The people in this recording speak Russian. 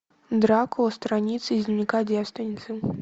дракула страницы из дневника девственницы